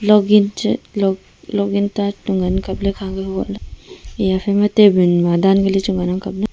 login ngan ang kap ley ephai ma table ma dan kali chu ngan ang kap ley.